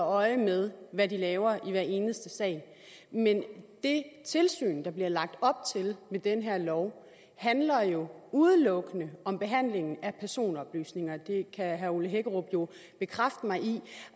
øje med hvad de laver i hver eneste sag men det tilsyn der bliver lagt op til med den her lov handler jo udelukkende om behandlingen af personoplysninger det kan herre ole hækkerup jo bekræfte mig i